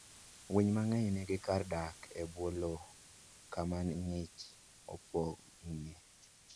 Winy mang'eny nigi kar dak e bwo lowo kama ng'ich opong'ie.